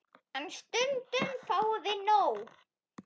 En stundum fáum við nóg.